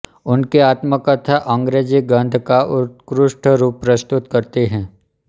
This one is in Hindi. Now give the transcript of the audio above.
उनकी आत्मकथा अंग्रेजी गद्य का उत्कृष्ट रूप प्रस्तुत करती है